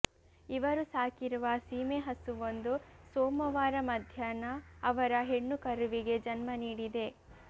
ಇವರು ಸಾಕಿರುವ ಸೀಮೆ ಹಸುವೊಂದು ಸೋಮವಾರ ಮಧ್ಯಾಹ್ನ ಅವರ ಹೆಣ್ಣು ಕರುವಿಗೆ ಜನ್ಮ ನೀಡಿದೆ